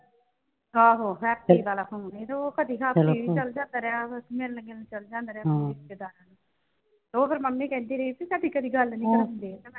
ਆਹੋ ਹੈਪੀ ਵਾਲਾ phone ਤੇ ਉਹ ਕਦੀ ਹਫ਼ਤੇ ਲਈ ਚਲਾ ਜਾਂਦਾ ਰਹਿਣ ਮਿਲਣ ਗਿਲਣ ਚੱਲ ਜਾਂਦਾ ਰਿਸ਼ਤੇਦਾਰਾਂ ਨੂੰ ਉਹ ਫਿਰ ਮੰਮੀ ਕਹਿੰਦੀ ਰਹੀ ਸੀ ਤੁਹਾਡੀ ਕਦੀ ਗੱਲ ਨਈਂ ਹੁੰਦੀ ਤੇ,